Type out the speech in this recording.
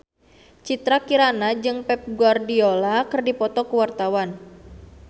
Citra Kirana jeung Pep Guardiola keur dipoto ku wartawan